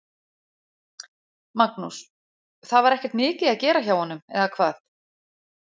Magnús: Það var ekkert mikið að gera hjá honum, eða hvað?